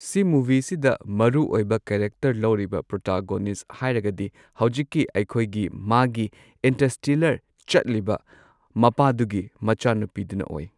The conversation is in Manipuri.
ꯁꯤ ꯃꯨꯕꯤꯁꯤꯗ ꯃꯔꯨꯑꯣꯏꯕ ꯀꯦꯔꯦꯛꯇꯔ ꯂꯧꯔꯤꯕ ꯄ꯭ꯔꯣꯇꯥꯒꯣꯅꯤꯁ ꯍꯥꯏꯔꯒꯗꯤ ꯍꯧꯖꯤꯛꯀꯤ ꯑꯩꯈꯣꯏꯒꯤ ꯃꯥꯒꯤ ꯏꯟꯇꯔꯁ꯭ꯇꯦꯂꯔ ꯆꯠꯂꯤꯕ ꯃꯄꯥꯗꯨꯒꯤ ꯃꯆꯥꯅꯨꯄꯤꯗꯨꯅ ꯑꯣꯏ꯫